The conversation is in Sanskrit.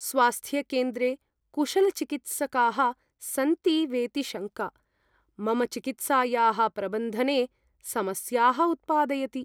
स्वास्थ्यकेन्द्रे कुशलचिकित्सकाः सन्ति वेति शङ्का, मम चिकित्सायाः प्रबन्धने समस्याः उत्पादयति।